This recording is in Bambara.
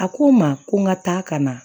A ko n ma ko n ka taa ka na